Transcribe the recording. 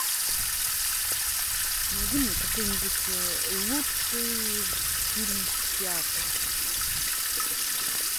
найди мне какой нибудь лучший фильм театр